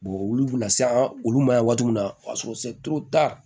olu bɛ na se an olu ma yan waati min na o y'a sɔrɔ